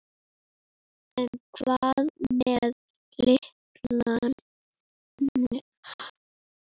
En hvað með litina?